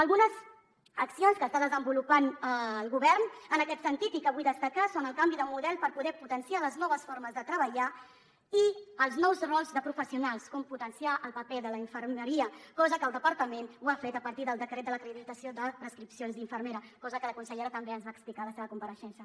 algunes accions que està desenvolupant el govern en aquest sentit i que vull destacar són el canvi de model per poder potenciar les noves formes de treballar i els nous rols de professionals com potenciar el paper de la infermeria cosa que el departament ha fet a partir del decret d’acreditació de prescripció infermera cosa que la consellera també ens va explicar a la seva compareixença